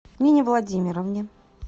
нине владимировне